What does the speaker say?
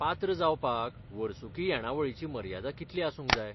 पात्र जावपाक वर्सुकी येणावळीची मर्यादा कितली आसूंक जाय?